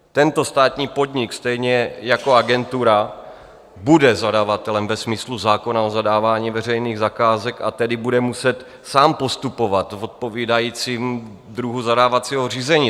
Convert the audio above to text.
Tento státní podnik stejně jako agentura bude zadavatelem ve smyslu zákona o zadávání veřejných zakázek, a tedy bude muset sám postupovat v odpovídajícím druhu zadávacího řízení.